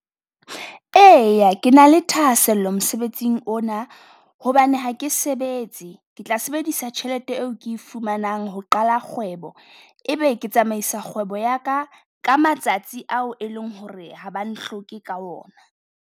Eya ke na le thahasello mosebetsing ona hobane ha ke sebetse. Ke tla sebedisa tjhelete eo ke fumanang ho qala kgwebo, e be ke tsamaisa kgwebo yaka ka matsatsi ao e leng ho re ha ba ne hloke ka ona.